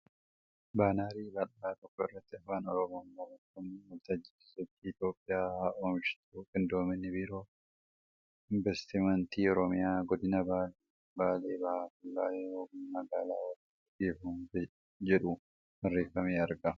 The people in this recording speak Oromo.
Baanarii bal'aa tokko irratti Afaan Oromoom barreeffamni ' waltajjii sosochii Itiyoophiyaan haa Oomishtu Qindoomina Biiroo Inbastimeentii Oromiyaa , Godiina Baalee, Baalee bahaa fi Baalee Roobee magaalaa waliin geggeeffamu ' jedhu barreeffamee argama.